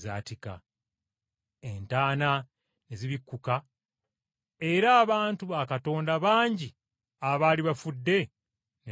Entaana ne zibikkuka era abantu ba Katonda bangi abaali bafudde ne bazuukira,